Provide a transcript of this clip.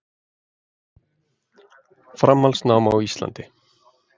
Framhaldsnám á Íslandi.